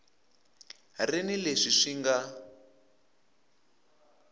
ri ni leswi swi nga